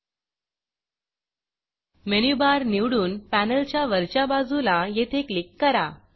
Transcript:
menu Barमेनु bar निवडून पॅनेलच्या वरच्या बाजूला येथे क्लिक करा